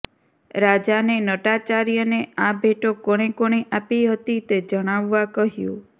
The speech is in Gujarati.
રાજાને નટાચાર્યને આ ભેટો કોણે કોણે આપી હતી તે જણાવવાં કહ્યું